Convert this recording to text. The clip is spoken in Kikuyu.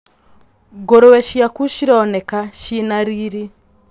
Ngũrũwe cĩaku cironeka cina riri.